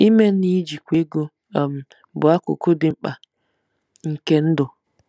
Ime na ijikwa ego um bụ akụkụ dị mkpa nke ndụ.